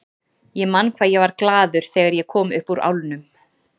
Ég man hvað ég var glaður þegar ég kom upp úr álnum.